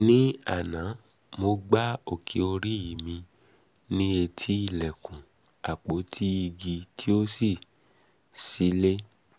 ní àná mo gbá òkè orí mi òkè orí mi ní etí ilẹ̀kùn àpótí igi tí ó ṣí sílẹ̀